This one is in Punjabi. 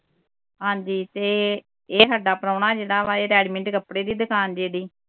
ਹਾਂਜੀ ਤੇ ਇਹ ਇਹ ਹਾਡਾ ਪ੍ਰਾਹੁਣਾ ਜਿਹੜਾ ਵਾ ਇਹ ready-made ਦੇ ਕੱਪੜੇ ਦੀ ਦੁਕਾਨ ਜੀ ਇਹਦੀ